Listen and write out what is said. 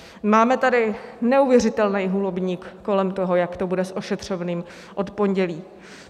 Máme tady neuvěřitelný holubník kolem toho, jak to bude s ošetřovným od pondělí.